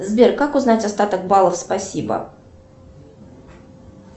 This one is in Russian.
сбер как узнать остаток баллов спасибо